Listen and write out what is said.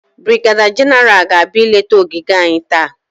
Brigeda Genaral ga-abịa ileta ogige anyị taa.